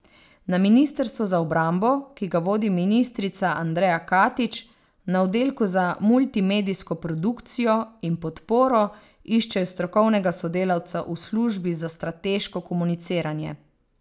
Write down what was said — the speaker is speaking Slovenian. Na ministrstvu za obrambo, ki ga vodi ministrica Andreja Katič, na oddelku za multimedijsko produkcijo in podporo iščejo strokovnega sodelavca v službi za strateško komuniciranje.